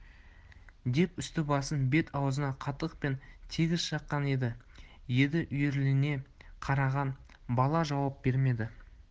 деп үсті-басын бет-аузын қатықпен тегіс жаққан еді еді үрейлене қараған бала жауап бермеді